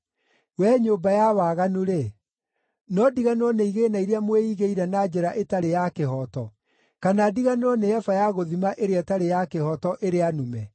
Wee nyũmba ya waganu-rĩ, no ndiganĩrwo nĩ igĩĩna iria mwĩigĩire na njĩra ĩtarĩ ya kĩhooto, kana ndiganĩrwo nĩ eba ya gũthima ĩrĩa ĩtarĩ ya kĩhooto, ĩrĩa nume?